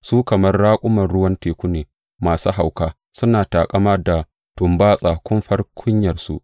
Su kamar raƙuman ruwan teku ne masu hauka, suna taƙama da tumbatsan kumfar kunyarsu.